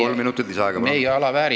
Kolm minutit lisaaega, palun!